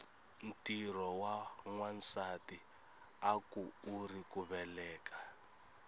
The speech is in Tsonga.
ntirho wa nwasati akuuri ku veleka